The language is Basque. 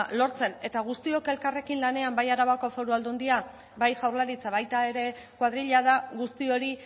lortzen eta guztiok elkarrekin lanean bai arabako foru aldundia bai jaurlaritza baita ere koadrila da guzti hori